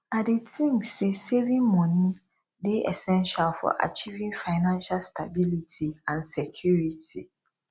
i dey think say saving money dey essential for achieving financial stability and security